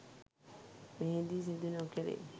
මෙහිදී සිදු නොකෙරේ